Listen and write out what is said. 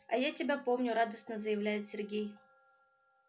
а я тебя помню радостно заявляет сергей